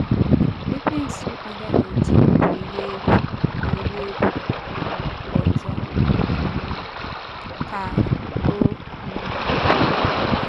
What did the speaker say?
“ Ekwensu agaghị eji m gwurie egwu gwurie egwu um ọzọ um, ” ka o um kwuru.